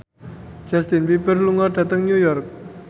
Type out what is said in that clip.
Justin Beiber lunga dhateng New York